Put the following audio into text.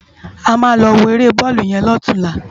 Ámá lò wó éré bòlú yèn lòtúnlá